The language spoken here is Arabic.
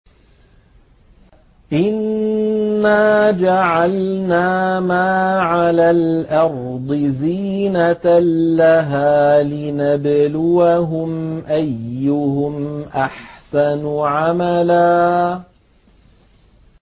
إِنَّا جَعَلْنَا مَا عَلَى الْأَرْضِ زِينَةً لَّهَا لِنَبْلُوَهُمْ أَيُّهُمْ أَحْسَنُ عَمَلًا